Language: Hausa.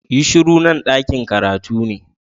Yi shuru! Nan dakin karatu ne.